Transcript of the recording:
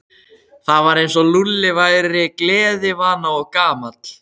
Það var eins og Lúlli væri gleðivana og gamall.